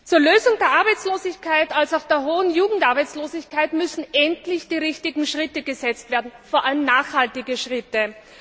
Zur Lösung der Arbeitslosigkeit wie auch der hohen Jugendarbeitslosigkeit müssen endlich die richtigen Schritte gesetzt werden, vor allem nachhaltige Schritte.